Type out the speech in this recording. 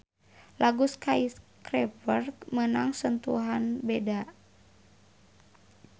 Lagu Skyscraper meunang sentuhan beda.